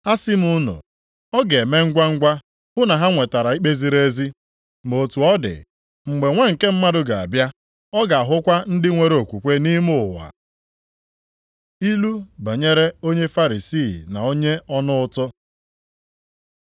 Asị m unu, ọ ga-eme ngwangwa hụ na ha nwetara ikpe ziri ezi. Ma otu ọ dị, mgbe Nwa nke Mmadụ ga-abịa, ọ ga-ahụkwa ndị nwere okwukwe nʼime ụwa?” Ilu banyere onye Farisii na onye ọna ụtụ